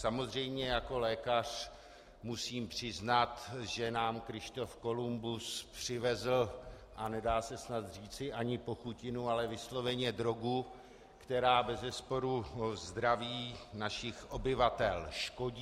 Samozřejmě jako lékař musím přiznat, že nám Kryštof Kolumbus přivezl, a nedá se snad říci ani pochutinu, ale vysloveně drogu, která bezesporu zdraví našich obyvatel škodí.